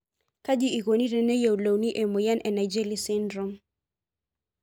Kaji eikoni teneyiolouni emoyian e Naegeli syndrome?